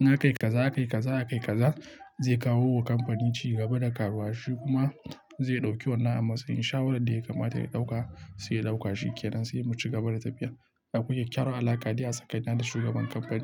in aka yi kaza, aka yi kaza, aka yi kaza zai kawo wa kamfani cigaba da karuwa. Shi kuma zai ɗauki wannan amsar in shawaran da ya kamata ya ɗauka sai ya ɗauka shi ke nan sai mu cigaba da tafiyar. Akwai kyakkyawar alaƙa dai a tsakanin da shi da shugaban kamfani.